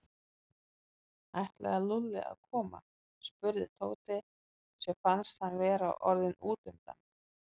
Ætlaði Lúlli að koma? spurði Tóti sem fannst hann vera orðinn útundan.